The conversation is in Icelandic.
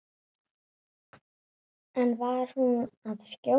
En var hún að skjóta?